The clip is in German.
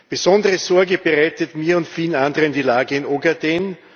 Besondere Sorge bereitet mir und vielen anderen die Lage in Ogaden.